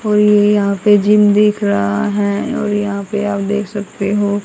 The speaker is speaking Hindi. और ये यहां पे जिम दिख रहा है और यहां पे आप देख सकते हो।